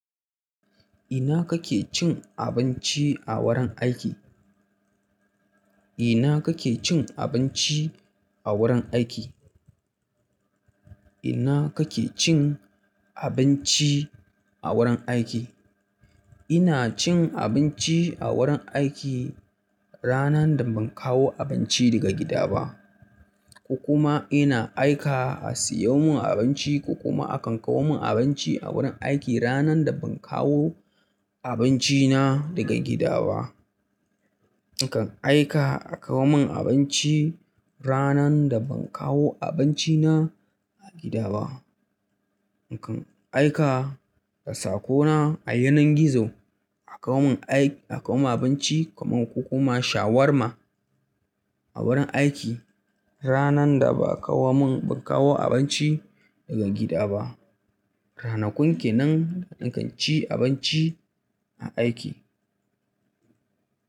Ina kake cin abinci a wurin aiki? Ina kake cin abinci a wurin aiki? Ina kake cin abinci a wurin aiki? Ina cin abinci a wurin aiki ranan da ban kawo abinci daga gida ba. Ko kuma ina aika a siyo mun abinci ko kuma akan kawo mun abinci a wurin aiki ranan da ban kawo abinci na daga gida ba. In kan aika a kawo mun abinci ranan da ban kawo abinci na a gida ba. In kan aika da sako na a yanan gizo a kawo mun aik-- a kawo mun abinci kaman ko kuma shawarma a wurin aiki ranan da ba a kawo mun, ban kawo abinci daga gida ba. Ranakun kenan nakan ci abinci a aiki.